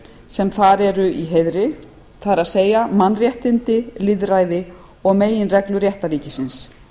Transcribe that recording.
hlutverk ráðsins er að standa vörð um virðingu fyrir mannréttindum lýðræði og meginreglum réttarríkisins